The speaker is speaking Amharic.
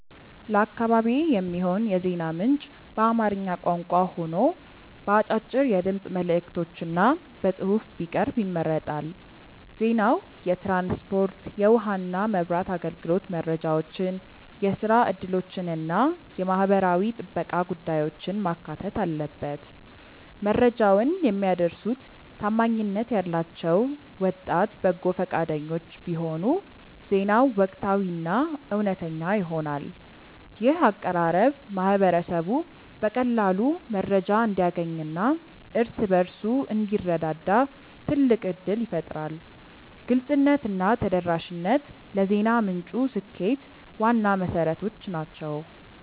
ለአካባቢዬ የሚሆን የዜና ምንጭ በአማርኛ ቋንቋ ሆኖ በአጫጭር የድምፅ መልዕክቶችና በጽሑፍ ቢቀርብ ይመረጣል። ዜናው የትራንስፖርት፣ የውኃና መብራት አገልግሎት መረጃዎችን፣ የሥራ ዕድሎችንና የማኅበራዊ ጥበቃ ጉዳዮችን ማካተት አለበት። መረጃውን የሚያደርሱት ታማኝነት ያላቸው ወጣት በጎ ፈቃደኞች ቢሆኑ ዜናው ወቅታዊና እውነተኛ ይሆናል። ይህ አቀራረብ ማኅበረሰቡ በቀላሉ መረጃ እንዲያገኝና እርስ በርሱ እንዲረዳዳ ትልቅ ዕድል ይፈጥራል። ግልጽነትና ተደራሽነት ለዜና ምንጩ ስኬት ዋና መሠረቶች ናቸው።